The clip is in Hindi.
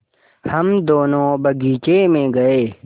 हम दोनो बगीचे मे गये